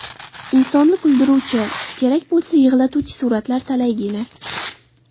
Insonni kuldiruvchi, kerak bo‘lsa, yig‘latuvchi suratlar talaygina.